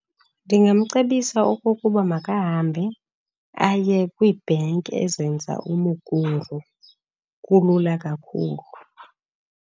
Ndingamcebisa okokuba makahambe aye kwibhanki ezenza uMukuru, kulula kakhulu.